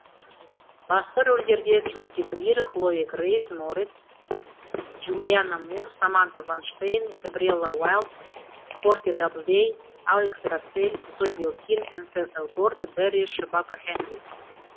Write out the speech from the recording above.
басты рөлдерде джуди грир хлоя грейс морец джулианна мур саманта вайнштейн габриэлла уайлд портия даблдэй алекс расселл зои белкин энсел элгорт бэрри шебака хенли